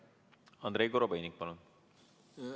Andrei Korobeinik, palun!